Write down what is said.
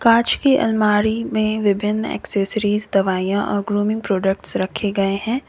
काच की अलमारी में विभिन्न एसेसरीज दवाइयां और ग्रुमिंग प्रोडक्ट्स रखे गए हैं।